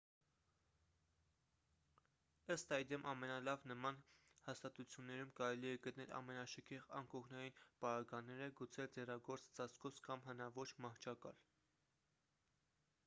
ըստ այդմ ամենալավ նման հաստատություններում կարելի է գտնել ամենաշքեղ անկողնային պարագաները գուցե ձեռագործ ծածկոց կամ հնաոճ մահճակալ